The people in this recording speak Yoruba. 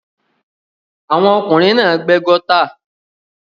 Àwọn ọkùnrin náà gbẹ́ gọ́tà.